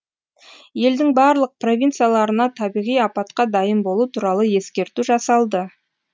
елдің барлық провинцияларына табиғи апатқа дайын болу туралы ескерту жасалды